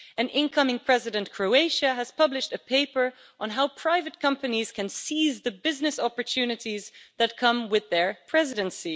The incoming Croatian Presidency has published a paper on how private companies can seize the business opportunities that come with their Presidency.